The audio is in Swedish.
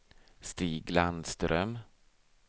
Stig Landström